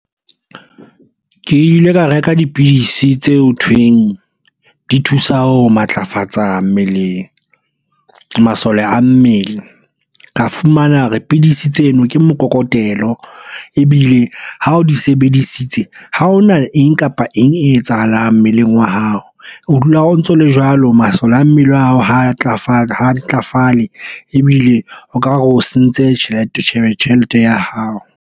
Ke ile ka reka dipidisi tse ho thweng di thusa ho matlafatsa mmeleng masole a mmele ka fumana hore pidisi tseno ke mokokotelo ebile ha o di sebedisitse ha hona eng kapa eng e etsahalang mmeleng wa hao o dula o ntso le jwalo. Masole a mmele wa hao ha ntlafale ebile o ka re o sentse tjhelete ya hao.